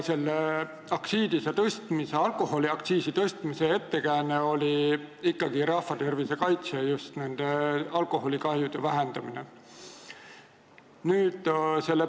Aga alkoholiaktsiisi tõstmise ettekääne oli ikkagi rahvatervise kaitse ja just alkoholikahjude vähendamine.